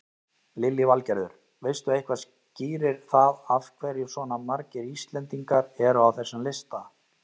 Lillý Valgerður: Veistu eitthvað skýrir það af hverju svona margir Íslendingar eru á þessum lista?